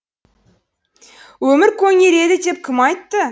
өмір көнереді деп кім айтты